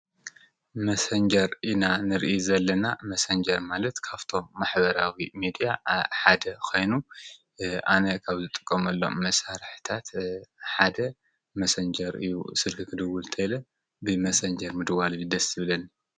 መሰንጀር ኢና ንርኢ ዘለና ። መሰንጀር ማለት ካብቶም ማሕበራዊ ሚድያ ሓደ ኮይኑ አነ ካብ ዝጥቀመሎም መስርሕታት ሓደ መሰንጀር እዩ። ስልኪ ክድውል እንተኢለ ብ መሰንጀር ምድዋል እዩ ደስ ዝብለኒ።